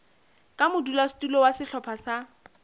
ka modulasetulo wa sehlopha sa